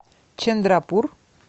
чандрапур